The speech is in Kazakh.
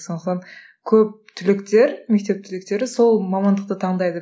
сондықтан көп түлектер мектеп түлектері сол мамандықты таңдайды